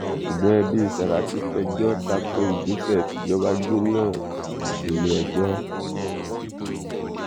ṣùgbọn ẹbí sàràkí pẹjọ́ tako ìgbésẹ̀ tíjọba gbé náà nílé-ẹjọ́